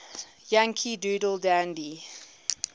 yankee doodle dandy